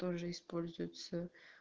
тоже используется